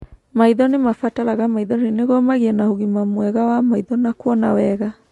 Maitho nĩ mabataraga maithori nĩguo magĩe na ũgima mwega wa maitho na kuona wega.